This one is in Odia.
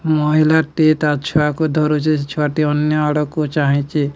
ମହିଲା ଟି ତା ଛୁଆକୁ ଧରୁଚି ସେ ଛୁଆଟି ଅନ୍ୟଆଡୁକୁ ଚାହିଁଚି।